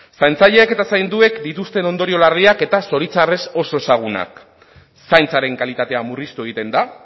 zaintzaileek eta zainduek dituzten ondorio larriak eta zoritxarrez oso ezagunak zaintzaren kalitatea murriztu egiten da